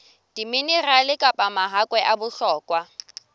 diminerale kapa mahakwe a bohlokwa